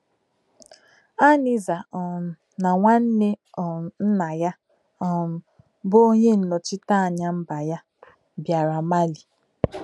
Aniza um na nwanne um nna ya um, bụ́ onye nnọchite anya mba ya, bịara Mali